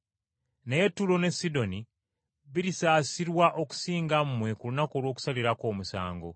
Naye Ttuulo ne Sidoni birisaasirwa okusinga mmwe ku lunaku olw’okusalirako omusango.